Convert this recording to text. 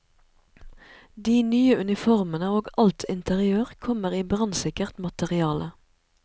De nye uniformene og alt interiør kommer i brannsikkert materiale.